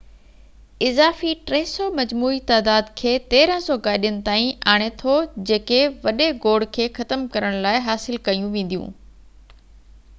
اضافي 300 مجموعي تعداد کي 1،300 گاڏين تائين آڻي ٿو جيڪي وڏي گوڙ کي ختم ڪرڻ لاءِ حاصل ڪيون وينديون